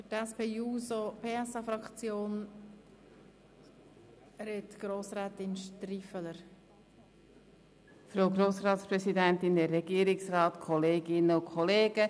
Als nächste Sprecherin hat Grossrätin StriffelerMürset für die SP-JUSO-PSA-Fraktion das Wort.